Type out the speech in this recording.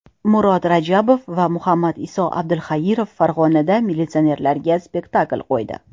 Murod Rajabov va Muhammadiso Abdulxairov Farg‘onada militsionerlarga spektakl qo‘ydi.